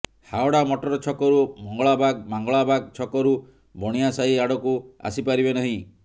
Howrah motor ଛକରୁ ମଙ୍ଗଳାବାଗ ମଙ୍ଗଳାବାଗ ଛକରୁ ବଣିଆସାହି ଆଡକୁ ଆସିପାରିବେ ନାହିଁ